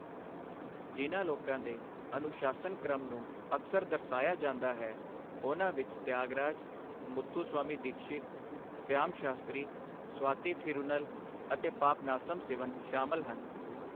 ਜਿਨ੍ਹਾਂ ਲੋਕਾਂ ਦੇ ਅਨੁਸ਼ਾਸਨ ਕ੍ਰਮ ਨੂੰ ਅਕਸਰ ਦਰਸਾਇਆ ਜਾਂਦਾ ਹੈ, ਉਨ੍ਹਾਂ ਵਿੱਚ ਤਿਆਗ ਰਾਜ, ਮੁਥੁਸਵਾਮੀ ਦੀਕਸ਼ਿਤ, ਸਿਆਮ ਸ਼ਾਸਤਰੀ, ਸਵਾਤੀ ਥਿਰੂਨਲ ਅਤੇ ਪਾਪਨਾਸਮ ਸਿਵਨ ਸ਼ਾਮਲ ਹਨ।